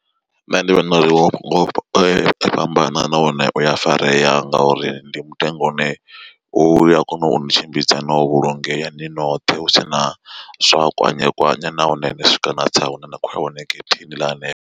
Nṋe ndi vhona uri ho fhambana nahone uya farea nga uri ndi mutengo une uya kona uni tshimbidza no vhulungeya ni noṱhe husina zwa kwanyekwanye nahone ni swika na tsa hune na khoya hone getheni ḽa hanefho.